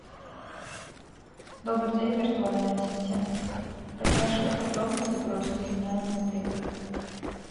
добрый день виртуальный ассистент расскажи подробности про слуги няни в отеле